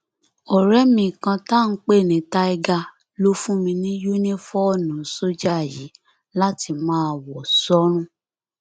ọrẹ mi kan tá à ń pè ní tiger ló fún mi ní yunifóònù sójà yìí láti máa wọ sọrùn